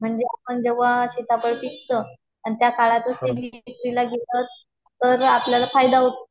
म्हणजे आपण जेव्हा सीताफळ पिकत आणि त्या काळातच ते पीक विक्रीला येत तर आपल्याला फायदा होतो.